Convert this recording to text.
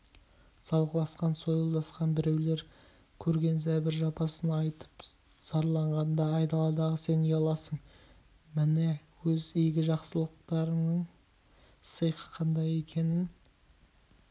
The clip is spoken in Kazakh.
салғыласқан сойылдасқан біреулер көрген зәбір-жапасын айтып зарланғанда айдаладағы сен ұяласың міне өз игі-жақсыларыңның сиқы қандай екенін